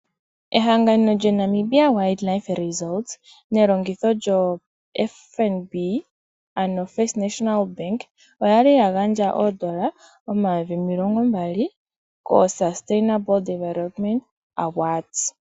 Ehangano lyoWild Namibia Resort nelongitho lyoFNB ano ombanga yotango yoshigwana oyali ya gandja oodollar omayovi omilongo mbali koSustainable Development Award.